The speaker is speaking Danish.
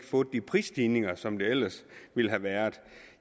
fået de prisstigninger som der ellers ville have været